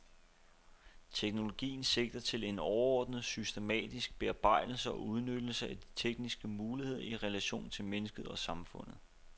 Teknologi sigter til en overordnet, systematisk bearbejdelse og udnyttelse af de tekniske muligheder i relation til mennesket og samfundet.